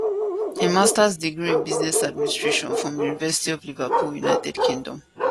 im masters degree in business administration from di university of liverpool united kingdom